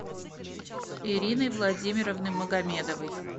ирины владимировны магомедовой